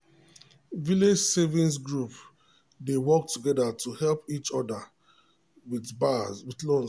village savings groups dey work together to help each other with loans.